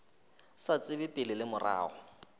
sa tsebe pele le morago